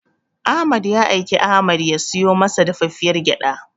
Ahmad ya aiki Ahmad ya siyo masa dafaffiyar gyaɗa.